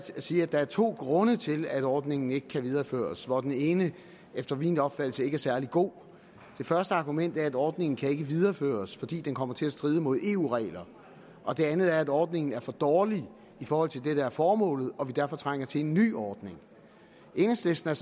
at sige at der er to grunde til at ordningen ikke kan videreføres og den ene er efter min opfattelse ikke særlig god det første argument er at ordningen ikke kan videreføres fordi den kommer til at stride mod eu regler og det andet argument er at ordningen er for dårlig i forhold til det der er formålet og at vi derfor trænger til en ny ordning enhedslisten er